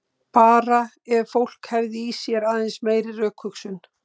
Bara ef fólk hefði í sér aðeins meiri rökhugsun.